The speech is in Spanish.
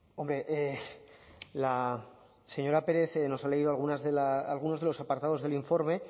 hombre la señora pérez nos ha leído algunos de los apartados del informe